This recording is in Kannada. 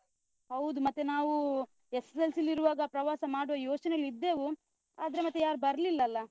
ಹೌದು, ಮತ್ತೆ ನಾವೂ SSLC ಲ್ಲಿರುವಾಗ ಪ್ರವಾಸ ಮಾಡುವ ಯೋಚನೆಲ್ಲಿದ್ದೆವು, ಆದ್ರೆ ಮತ್ತೆ ಯಾರ್ ಬರ್ಲಿಲ್ಲ ಅಲ.